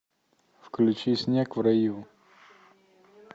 включи снег в раю